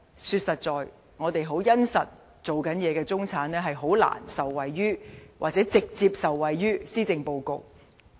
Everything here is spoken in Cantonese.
說實在，在香港殷實工作的中產是難以受惠於或直接受惠於施政報告。